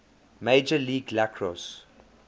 major league lacrosse